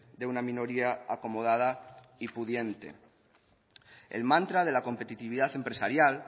de una minoría acomodada y pudiente el mantra de la competitividad empresarial